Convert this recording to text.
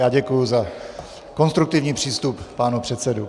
Já děkuji za konstruktivní přístup pánů předsedů.